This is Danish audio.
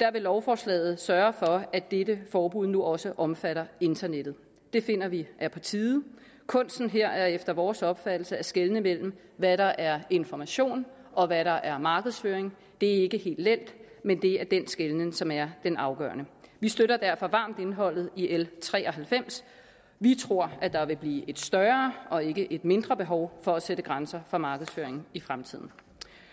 der vil lovforslaget sørge for at dette forbud nu også omfatter internettet det finder vi er på tide kunsten her er efter vores opfattelse at skelne mellem hvad der er information og hvad der er markedsføring det ikke helt let men det er den skelnen som er den afgørende vi støtter derfor varmt indholdet i l tre og halvfems vi tror at der vil blive et større og ikke et mindre behov for at sætte grænser for markedsføringen i fremtiden